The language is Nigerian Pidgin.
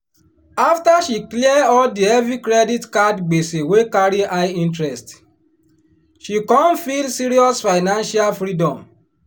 after she clear all di heavy credit card gbese wey carry high interest she come feel serious financial freedom.